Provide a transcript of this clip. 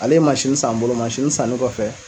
Ale ye san n bolo sanni kɔfɛ